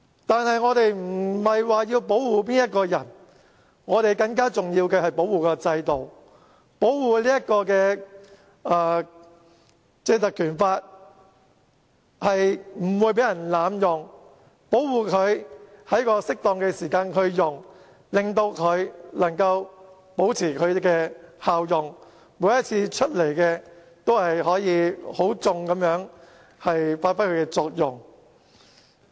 但是，我們不是要保護誰，更加重要的是要保護制度，保護《立法會條例》不會被濫用，保護它在適當的時間使用，令它能夠保持其效用，每次都可以很好地發揮它的作用。